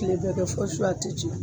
Kile bɛɛ kɛ fɔ su , a ti ci.